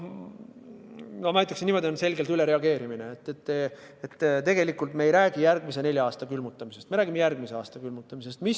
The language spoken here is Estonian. Ma ütlen niimoodi, et see on selge ülereageerimine – me ei räägi järgmise nelja aasta külmutamisest, vaid me räägime järgmise aasta külmutamisest.